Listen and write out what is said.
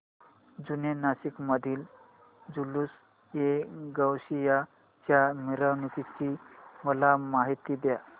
जुने नाशिक मधील जुलूसएगौसिया च्या मिरवणूकीची मला माहिती दे